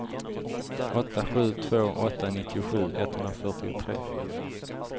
åtta sju två åtta nittiosju etthundrafyrtiotre